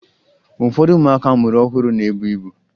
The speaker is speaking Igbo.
Ụfọdụ ụmụaka a mụrụ ọhụrụ na-ebu ibu